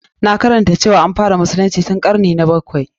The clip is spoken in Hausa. Na karanta cewa an fara musulunci tun ƙarni na bakwai.